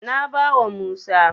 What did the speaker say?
Na bawa Musa.